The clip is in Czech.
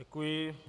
Děkuji.